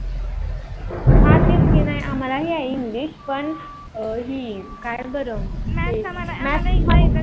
आहे. हा तेच की नाही आम्हाला आहे english पण ही काय बर